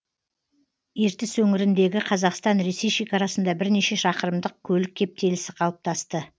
ертіс өңіріндегі қазақстан ресей шекарасында бірнеше шақырымдық көлік кептелісі қалыптасты